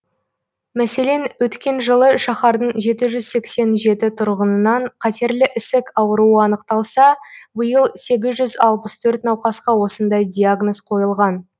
мәселен өткен жылы шаһардың жеті жүз сексен жеті тұрғынынан қатерлі ісік ауруы анықталса биыл сегіз жүз алпыс төрт науқасқа осындай диагноз қойылған